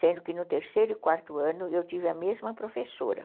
Sendo que no terceiro e quarto ano eu tive a mesma professora.